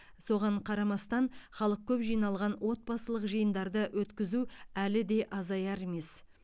соған қарамастан халық көп жиналған отбасылық жиындарды өткізу әлі де азаяр емес